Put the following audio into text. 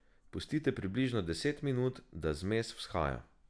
Pustite približno deset minut, da zmes vzhaja.